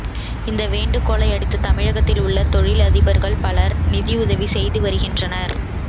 இந்த வேண்டுகோளை அடுத்து தமிழகத்தில் உள்ள தொழில் அதிபர்கள் பலர் நிதி உதவி செய்து வருகின்றனர்